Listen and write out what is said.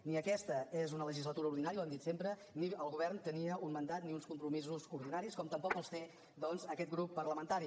ni aquesta és una legislatura ordinària ho hem dit sempre ni el govern tenia un mandat ni uns compromisos ordinaris com tampoc els té doncs aquest grup parlamentari